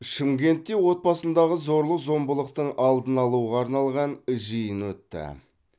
шымкентте отбасындағы зорлық зомбылықтың алдын алуға арналған жиын өтті